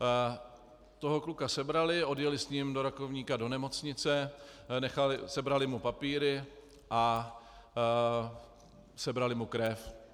Toho kluka sebrali, odjeli s ním do Rakovníka do nemocnice, sebrali mu papíry a sebrali mu krev.